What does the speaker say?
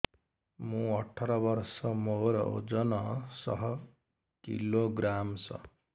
ମୁଁ ଅଠର ବର୍ଷ ମୋର ଓଜନ ଶହ କିଲୋଗ୍ରାମସ